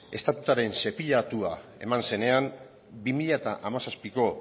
eman zenean bi mila hamazazpiko